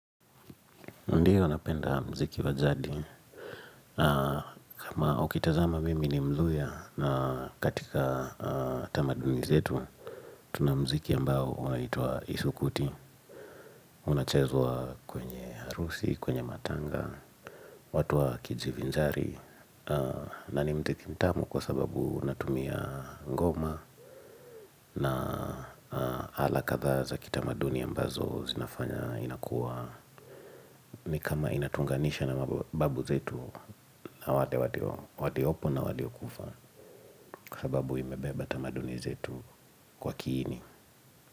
Ndiyo napenda muziki wa jadi, na kama ukitazama mimi ni mluya, na katika tamaduni zetu, tunamuziki ambao unaitwa Isukuti, unachezwa kwenye harusi, kwenye matanga, watu wakijivinjari, na ni muziki mtamu kwa sababu unatumia ngoma, na ala kadhaa za kita maduni ambazo zinafanya inakua, ni kama inatuunganisha na mababu zetu na wale wali opo na wali okufa kwsababu imebeba tamaduni zetu kwa kiini.